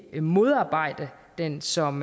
modarbejde den som